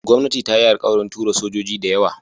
Gwamnati ta yi alkawarin tura sojoji dayawa